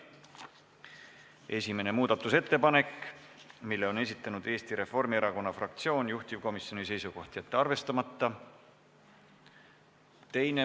Esimese muudatusettepaneku on esitanud Eesti Reformierakonna fraktsioon, juhtivkomisjoni seisukoht on jätta see arvestamata.